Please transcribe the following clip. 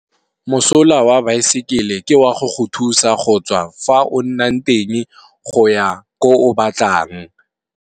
Mosola wa baesekele ke wa go go thusa go tswa fa o nnang teng go ya ko o batlang.